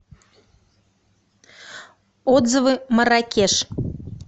отзывы марракеш